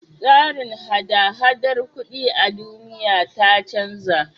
Tsarin hada-hadar kuɗi a duniya ta canja.